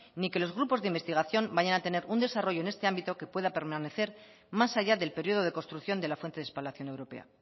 ni que los grupos de investigación vayan a tener un desarrollo en este ámbito que pueda permanecer más allá del periodo de construcción de la fuente de espalación europea